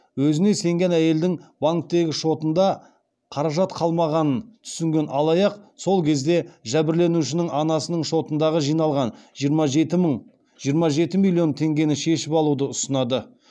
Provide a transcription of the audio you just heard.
өзіне сенген әйелдің банктегі шотында қаражат қалмағанын түсінген алаяқ сол кезде жәбірленушінің анасының шотындағы жиналған жиырма жеті миллион теңгені шешіп алуды ұсынады